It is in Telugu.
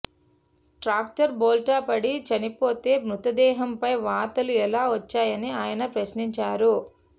ట్రాక్టర్ బోల్తాపడి చనిపోతే మృతదేహంపై వాతలు ఎలా వచ్చాయని ఆయన ప్రశ్నించారు